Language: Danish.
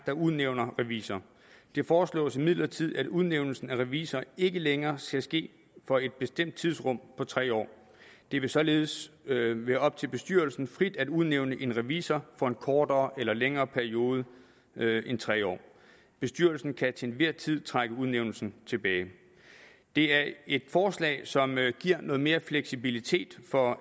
der udnævner revisor det foreslås imidlertid at udnævnelsen af revisor ikke længere skal ske for et bestemt tidsrum på tre år det vil således være op til bestyrelsen frit at udnævne en revisor for en kortere eller længere periode end tre år bestyrelsen kan til enhver tid trække udnævnelsen tilbage det er et forslag som giver noget mere fleksibilitet for